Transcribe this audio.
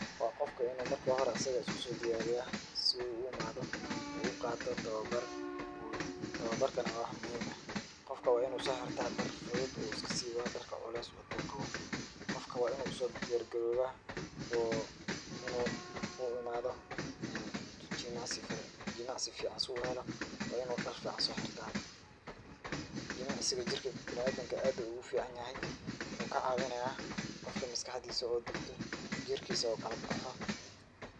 Waa qofka in uu marka hore asiga usku soo diyaariya si uu u i maado uu u qaato tababar. Tababarkana waa wax muhiim eh. Qofka waa in uu soo xirtaa dhar fudud uu iska siiba dharka culays wato uu qabo. Qofka waa in uu u soo diyaar garoobaa wuu in uu i maado jimacsi ficaan si uu helo. waa in uu dhar ficaan soo xirta. Jimicsiga jirka bina'aadinka aad ayuu ugu ficaan yahay. Waxuu ka caawinayaa qofka maskaxdiisa oo degto, jirkiisa oo kala babaxo.